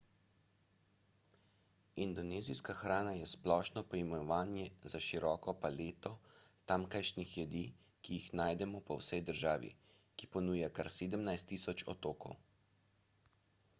indonezijska hrana je splošno poimenovanje za široko paleto tamkajšnjih jedi ki jih najdemo po vsej državi ki ponuja kar 17.000 otokov